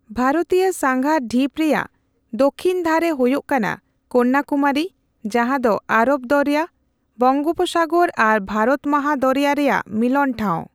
ᱵᱷᱟᱨᱚᱛᱤᱭᱟᱹ ᱥᱟᱸᱜᱟ ᱰᱷᱤᱯ ᱨᱮᱭᱟᱜ ᱫᱚᱠᱷᱤᱱ ᱫᱷᱟᱨᱮ ᱦᱳᱭᱳᱜ ᱠᱟᱱᱟ ᱠᱚᱱᱱᱟᱠᱩᱢᱟᱨᱤ, ᱡᱟᱸᱦᱟ ᱫᱚ ᱟᱨᱚᱵᱽ ᱫᱚᱨᱭᱟ, ᱵᱚᱝᱳᱯᱚᱥᱟᱜᱚᱨ ᱟᱨ ᱵᱷᱟᱨᱚᱛ ᱢᱟᱦᱟ ᱫᱚᱨᱭᱟ ᱨᱮᱭᱟᱜ ᱢᱤᱞᱚᱱ ᱴᱷᱟᱣ᱾